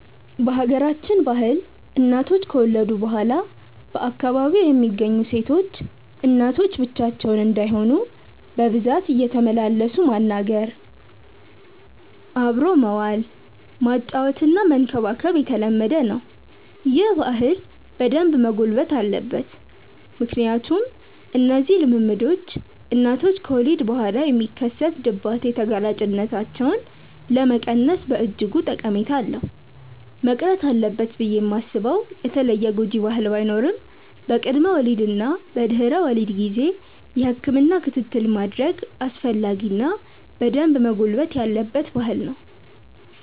በሀገራችን ባህል እናቶች ከወለዱ በኋላ በአካባቢው የሚገኙ ሴቶች እናቶች ብቻቸውን እንዳይሆኑ በብዛት እየተመላለሱ ማናገር፣ አብሮ መዋል፣ ማጫወትና መንከባከብ የተለመደ ነው። ይህ ባህል በደንብ መጎልበት አለበት ምክንያቱም እነዚህ ልምምዶች እናቶች ከወሊድ በኋላ የሚከሰት ድባቴ ተጋላጭነታቸውን ለመቀነስ በእጅጉ ጠቀሜታ አለው። መቅረት አለበት ብዬ ማስበው የተለየ ጎጂ ባህል ባይኖርም በቅድመ ወሊድ እና በድህረ ወሊድ ጊዜ የህክምና ክትትል ማድረግ አስፈላጊ እና በደንብ መጎልበት ያለበት ባህል ነው።